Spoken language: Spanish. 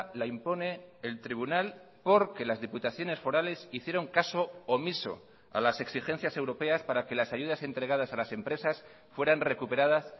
la impone el tribunal porque las diputaciones forales hicieron caso omiso a las exigencias europeas para que las ayudas entregadas a las empresas fueran recuperadas